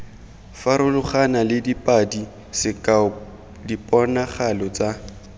farologanale padi sekao diponagalo tsa